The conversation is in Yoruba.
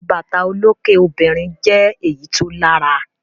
Àwọn bàtà olókè obìnrin jẹ́ èyí tó lárà.